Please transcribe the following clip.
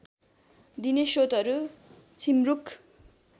दिने श्रोतहरू झिमरुक